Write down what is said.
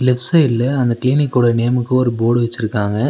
Left சைட்ல அந்த கிளினிக்கோட நேமுக்கு ஒரு போர்டு வெச்சிருக்காங்க.